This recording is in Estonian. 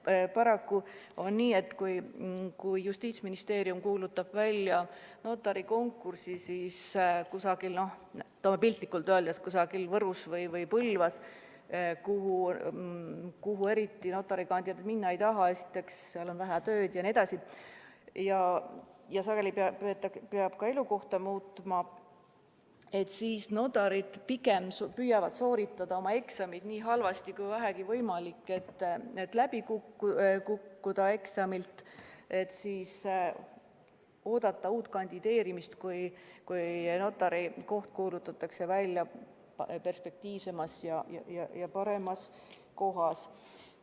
Paraku on nii, et kui Justiitsministeerium kuulutab välja notarikonkursi, siis piltlikult öeldes, kui koht on kusagil Võrus või Põlvas, kuhu notari kandidaadid eriti minna ei taha – esiteks seal on vähe tööd ja sageli peaks ka elukohta muutma –, siis nad pigem püüavad sooritada eksamid nii halvasti kui vähegi võimalik, et läbi kukkuda ja oodata uut konkurssi, kui notarikoht kuulutatakse välja perspektiivsemas ja paremas kohas.